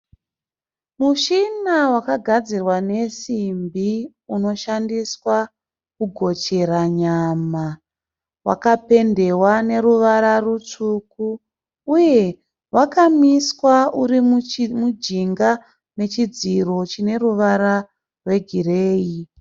Mushina wakagadzirwa nesimbi unoshandiswa kugochera nyama. Wakapendewa neruvara rutsvuku uye wakamisiwa urimujinga mechidziro chine ruvara rwegireyi.